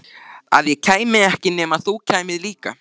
Að ég kæmi ekki nema þú kæmir líka.